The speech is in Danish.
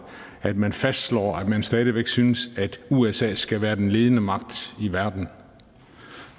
at man fastslår at man stadig væk synes at usa skal være den ledende magt i verden